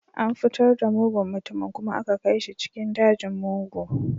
An fitar da mugun mutumin kuma aka kai shi cikin dajin mugu